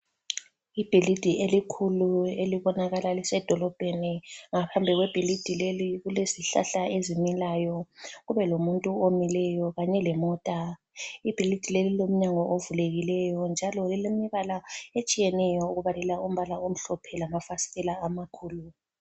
Ibhilidi elikhulu elibonakala lisedolobheni. Ngaphandle kwebhilidi leli kulezihlahla ezimilayo. Kube lomuntu omileyo kanye lemota. Ibhilidi leli lilomnyango ovulekileyo njalo lilemibala etshiyeneyo okubalela umbala omhlophe lamafasitela amakhulu.